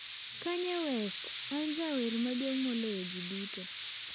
Kanye West: 'An jawer maduong' moloyo ji duto'